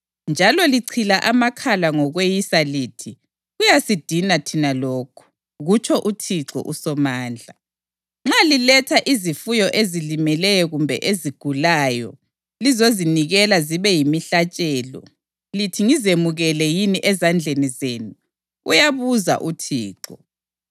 Njalo lichila amakhala ngokweyisa lithi, ‘Kuyasidina thina lokhu!’ ” Kutsho uThixo uSomandla. “Nxa liletha izifuyo ezilimeleyo kumbe ezigulayo lizozinikela zibe yimihlatshelo, lithi ngizemukele yini ezandleni zenu?” uyabuza uThixo.